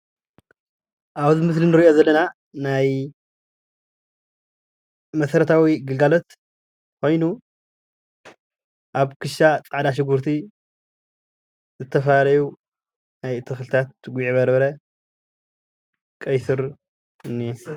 ኣብዚ ምስሊ እንሪኦ ዘለና ናይ መሰረታዊ ግልጋሎት ኮይኑ ኣብ ክሻ ፃዕዳ ሽጉርቲ ዝተፈላለዩ ናይ ተክልታት ጉዕ በርበረ ፣ቄሱር እንኤ፡፡